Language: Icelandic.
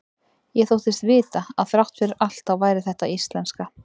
Ég þóttist vita að þrátt fyrir allt þá væri þetta íslenska.